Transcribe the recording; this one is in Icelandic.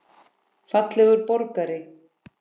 Fallegur borgari?